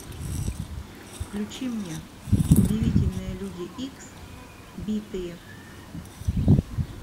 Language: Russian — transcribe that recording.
включи мне удивительные люди икс битые